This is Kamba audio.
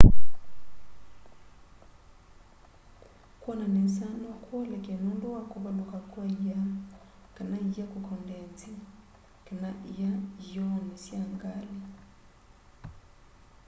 kwona nesa no kuoleke nundu wa kuvaluka kwa ia kana ia kukondenzi kana ia iy'ooni sya ngali